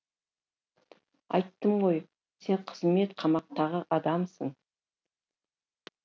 айттым ғой сен қызмет қамақтағы адамсың